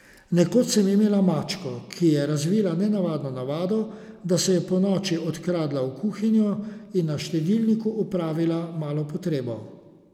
Nekoč sem imela mačko, ki je razvila nenavadno navado, da se je ponoči odkradla v kuhinjo in na štedilniku opravila malo potrebo.